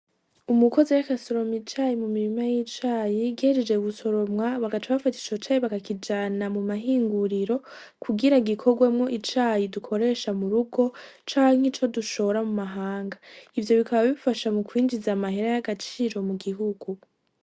Umukozi ariko asoroma icayi mu mirima y'icayi igejeje gusoromwa bagaca bafata ico cayi bakakijana mu mahinguriro kugira gikorwemo icayi dukoresha murugo canke ico dushora mu mahanga ivyo bikaba bifasha mu kwinjiza amahera y'agaciro mu gihugu.